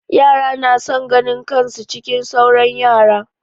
Yara na son ganin kan su cikin sauran yara.